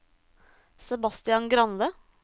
Sebastian Grande